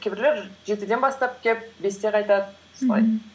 кейбіреулер жетіден бастап келіп бесте қайтады солай